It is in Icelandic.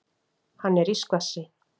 Hann er í skvassi.